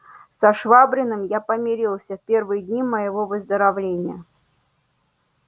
со швабриным я помирился в первые дни моего выздоровления